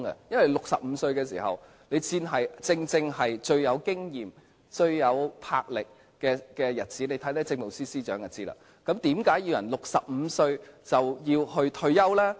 因為65歲正正是最富經驗、最有魄力的日子，看看政務司司長便會知道，那為何要人65歲便退休呢？